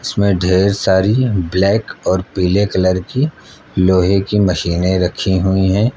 इसमें ढेर सारी ब्लैक और पीले कलर की लोहे की मशीनें रखी हुई है।